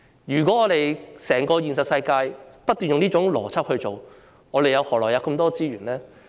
如果在現實世界中不斷運用這種邏輯，我們何來這麼多資源呢？